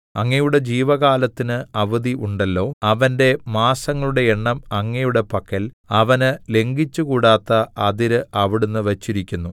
അങ്ങയുടെ ജീവകാലത്തിന് അവധി ഉണ്ടല്ലോ അവന്റെ മാസങ്ങളുടെ എണ്ണം അങ്ങയുടെ പക്കൽ അവന് ലംഘിച്ചുകൂടാത്ത അതിര് അവിടുന്ന് വച്ചിരിക്കുന്നു